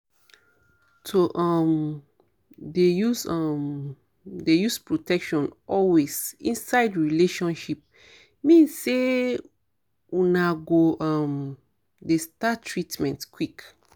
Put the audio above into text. to um dey use um dey use protection always inside relationship mean say una go um dey start treatment quick